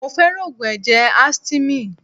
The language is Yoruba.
Mo fẹ́ràn Ògùn ẹ̀jẹ̀ Astymin.